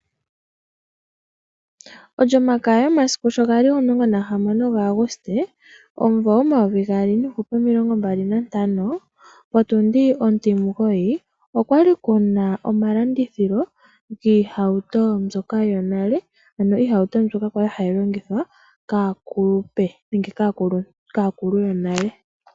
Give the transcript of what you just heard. Olyomakaya yomasiku si ga li 16 Auguste 2025, potundi ontimugoyi okwa li ku na omalandithilo giihauto mbyoka yonale, ano iihauto mbyoka ya li hayi longithwa kaakulupe nenge kaakulu yonale.